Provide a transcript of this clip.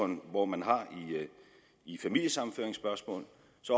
man hvor man har i familiesammenføringsspørgsmål